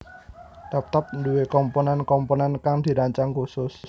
Laptop nduwe komponen komponen kang dirancang khusus